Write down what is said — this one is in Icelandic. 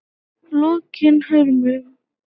Lokinhömrum